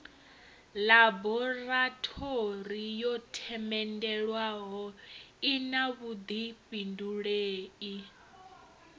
ḽaborathori yo themendelwaho ina vhuḓifhindulei